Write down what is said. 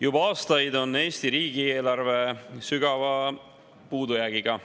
Juba aastaid on Eesti riigieelarve sügava puudujäägiga.